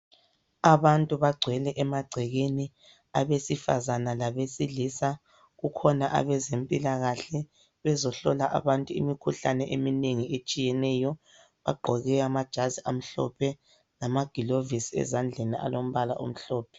Abantu bagcwele emagcekeni, abesifazana labesilisa, kukhona abezempilakahle, bezohlola abantu imikhuhlane eminengi etshiyeneyo. Bagqoke amajazi amhlophe lamagilovisi ezandleni alombala omhlophe.